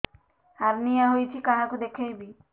hernia ହୋଇଛି କାହାକୁ ଦେଖେଇବି